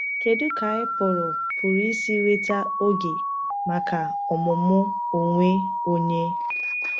Kedu ka anyị pụrụ pụrụ isi nweta oge maka ọmụmụ onwe onye?